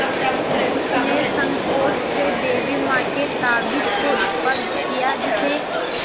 उसने सँकोच से देवी माँ के ताबीज़ को स्पर्श किया जिसे